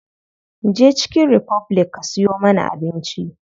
Je chicken republic ka siyo mana abinci.